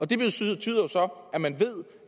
det betyder så at man ved